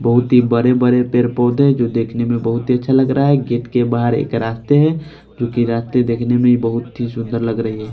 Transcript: बहुत ही बड़े बड़े पेड़ पौधे हैं जो देखने में बहुत ही अच्छा लग रहा है गेट एक बाहर एक रास्ते हैं जोकि रास्ते देखने में बहुत ही सुन्दर लग रही है।